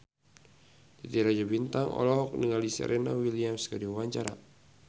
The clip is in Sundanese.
Titi Rajo Bintang olohok ningali Serena Williams keur diwawancara